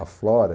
A Flora.